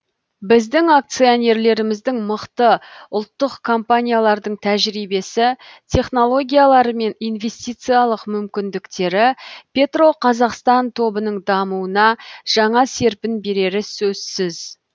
біздің акционерлеріміздің мықты ұлттық компаниялардың тәжірибесі технологиялары мен инвестициялық мүмкіндіктері петроқазақстан тобының дамуына жаңа серпін берері сөзсіз